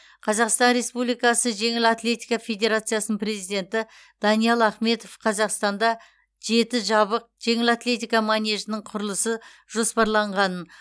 қазақстан республикасы жеңіл атлетика федерациясының президенті даниал ахметов қазақстанда жеті жабық жеңіл атлетика манежінің құрылысы жоспарланғанын